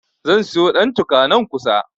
Zan siyo ɗantuka, nan kusa.